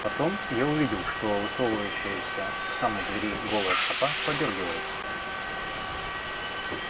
потом я увидел что высовывающаяся к самой двери голая стопа подёргивается